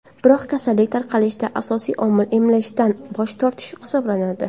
Biroq kasallik tarqalishida asosiy omil emlashdan bosh tortish hisoblanadi.